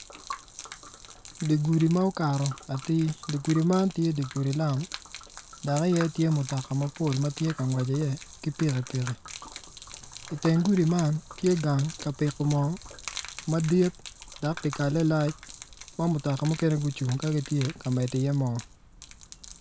Digudi ma okato atir digudi man tye digudi lam dog aye tye mutoka mapol matye kangwec i ye ki pikipiki i teng gudi man tye gang kapiko mo madit dok dyakale lac ma mutoka mukene gucung ka gitye ka medo i ye mo.